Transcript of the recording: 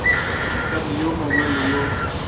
mosadi yo mongwe le yo